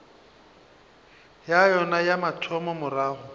ya yona ya mathomo morago